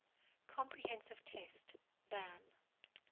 comprehensive test ban